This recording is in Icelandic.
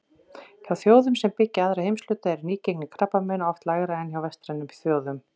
Hjá þjóðum sem byggja aðra heimshluta er nýgengi krabbameina oft lægra en hjá vestrænum þjóðum.